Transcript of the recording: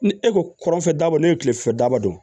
Ni e ko kɔrɔnfɛ daba ne ye kilefɛ daba don